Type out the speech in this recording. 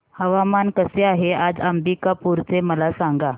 हवामान कसे आहे आज अंबिकापूर चे मला सांगा